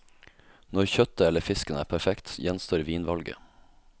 Når kjøttet eller fisken er perfekt, gjenstår vinvalget.